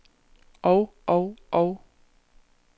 og og og